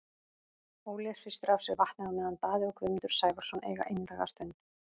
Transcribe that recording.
Óli hristir af sér vatnið á meðan Daði og Guðmundur Sævarsson eiga einlæga stund.